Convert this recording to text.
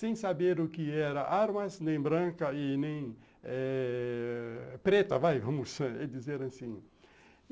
Sem saber o que era armas, nem branca e nem eh preta vai, vamos dizer assim.